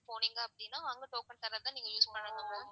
போனீங்க அப்படினா அங்க token தரத நீங்க use பண்ணிக்கலாம்.